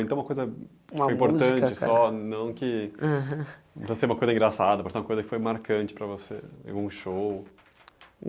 Então é uma coisa importante uma música cara, só não que... aham Pode ser uma coisa engraçada, pode ser uma coisa que foi marcante para você, algum show.